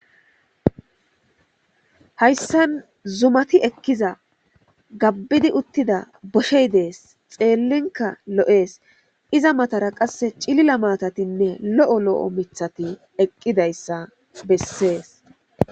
Hayssan zumati ekkiza gabbidi uttida boshey dees xeellinka lo'ees iza matara qasse cilila maatatinne lo'o lo7o mithati eqqidayssa bessees.